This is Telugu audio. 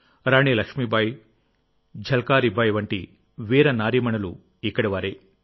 రాణి లక్ష్మీబాయిఝల్కారీ బాయి వంటి వీరనారీమణులు ఇక్కడివారే